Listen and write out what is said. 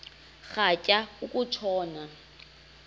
rhatya uku tshona